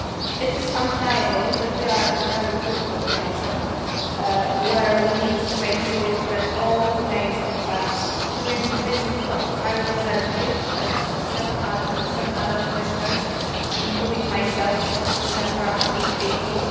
It is undeniable that we are at a very critical juncture where we need to make sure that all remains on track during the visit of the High Representative and seven other commissioners, including myself, to Tehran in April.